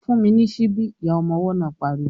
"Fún mi ní síbí!" Ìyá ọmọ ọwọ́ náà pariwo